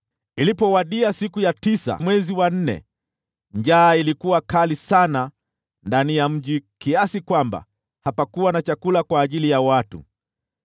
Ilipowadia siku ya tisa ya mwezi wa nne, njaa ikazidi kuwa kali sana ndani ya mji, hadi hapakuwa na chakula kwa ajili ya watu.